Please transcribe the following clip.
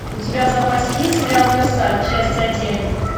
у тебя в запасе есть сериал версаль часть один